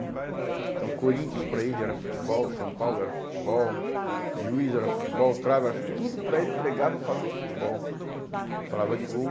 né? Então, Corinthians para ele era futebol, São Paulo era futebol, Juiz era futebol, Trava era fu, tudo para ele pregava falando de futebol, falava de gol.